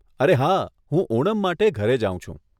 અરે હા, હું ઓનમ માટે ઘરે જાઉં છું.